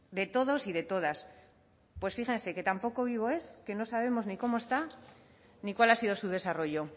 de todos y de todas pues fíjense que tan poco vivo es que no sabemos ni cómo está ni cuál ha sido su desarrollo